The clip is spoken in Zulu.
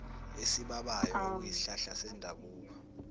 esibabayo okuyisihlahla sendabuko